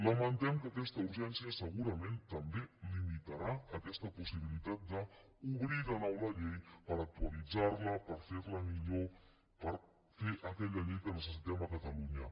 lamentem que aquesta urgència segurament també limitarà aquesta possibilitat d’obrir de nou la llei per actualitzar la per fer la millor per fer aquella llei que necessitem a catalunya